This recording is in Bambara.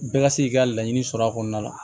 Bɛɛ ka se k'i ka laɲini sɔrɔ a kɔnɔna la